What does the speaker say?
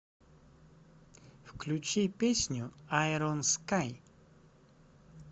включи песню айрон скай